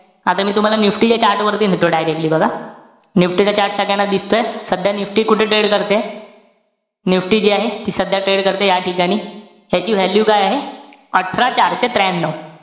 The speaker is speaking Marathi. आता मी तुम्हाला NIFTY च्या chart वरती नेतो directly बघा. NIFTY चा chart सगळ्यांना दिसतोय? सध्या NIFTY कुठे trade करतेय? NIFTY जी आहे, सध्या trade करतेय या ठिकाणी. ह्याची value काय आहे? अठरा चारशे त्र्यानव.